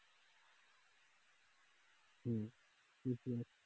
হম